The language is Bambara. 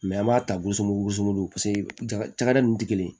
an b'a ta gosugu goson don paseke jakalɛ nunnu tɛ kelen ye